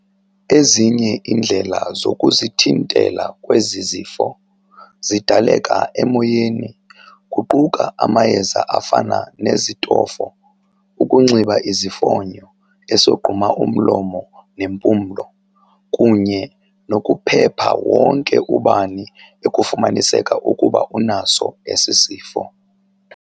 Ezinye iindlela zokuzithintela kwezi zifo zidaleka emoyeni kuquka amayeza afana nezitofo, ukunxiba isifonyo esogquma umlomo ne nempumlo, kunye nokuphepha wonke ubani ekufumaniseka ukuba unaso esi sifo.